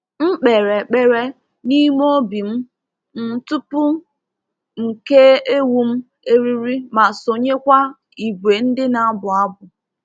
M kpere ekpere n’ime obi m m tupu m kee ewu m eriri ma sonyekwa ìgwè ndị na-abụ abụ.